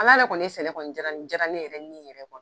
Ala le ye sɛnɛ kɔni diyara ni diyara ne yɛrɛ ni yɛrɛ ye